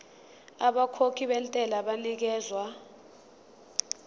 abakhokhi bentela banikezwa